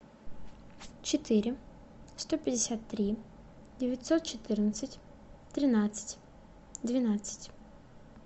четыре сто пятьдесят три девятьсот четырнадцать тринадцать двенадцать